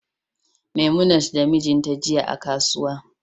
memunat da mijinta jiya a kasuwa